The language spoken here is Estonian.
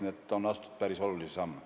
Nii et on astutud päris olulisi samme.